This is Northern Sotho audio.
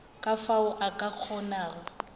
ka fao a ka kgonago